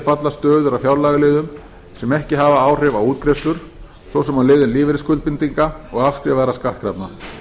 falla stöður á fjárlagaliðum sem ekki hafa áhrif á útgreiðslur svo sem á liðum lífeyrisskuldbindinga og afskrifaðra skattkrafna